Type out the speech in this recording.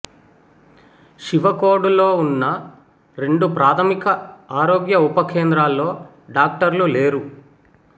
శివకోడులో ఉన్న రెండు ప్రాథమిక ఆరోగ్య ఉప కేంద్రాల్లో డాక్టర్లు లేరు